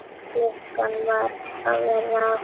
Klukkan var að verða átta.